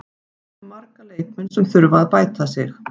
Við höfum marga leikmenn sem þurfa að bæta sig.